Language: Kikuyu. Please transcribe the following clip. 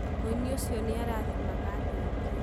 mũinĩ ũcio nĩarathimaga andũ aingĩ.